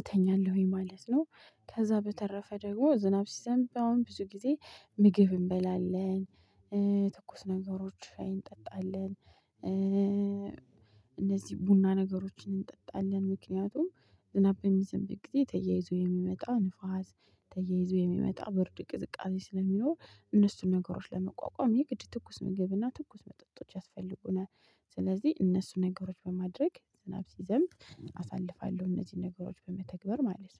እተኛለሁኝ ማለት ነው። ከዛ በተረፈ ደግሞ ዝናብ ሲዘምብ አሁን ብዙ ጊዜ ምግብ እንበላለን። ትኩስ ነገሮች ሻይ እንጠጣለን። እነዚህ ቡና ነገሮችን እንጠጣለን። ምክንያቱም ዝናብ የሚዘንብኝ ጊዜ ተያይዞ የሚመጣ ንፋስ ተያይዞ የሚመጣ ብርድ ቅዝቃዜ ስለሚኖር እነሱን ነገሮች ለመቋቋም ይህ ግድ ትኩስ ምገብና ትኩስ መጠጦች ያስፈልጉናል። ስለዚህ እነሱን ነገሮች በማድረግ ዝናብ ሲዘምቦ አሳልፋለሁ እነዚህን ነገሮች በመተግበር ማለት ነው